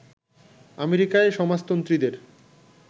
আমেরিকায় সমাজতন্ত্রীদের